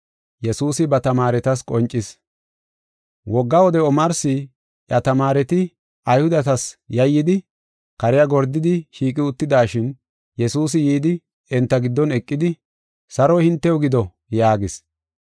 Wogga wode omarsi, iya tamaareti Ayhudetas yayyidi kariya gordidi shiiqi uttidashin, Yesuusi yidi, enta giddon eqidi, “Saroy hintew gido” yaagis.